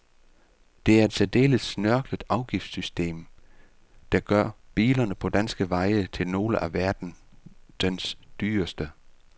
Det er et særdeles snørklet afgiftssystem, der gør biler på danske veje til nogle af verdens dyreste.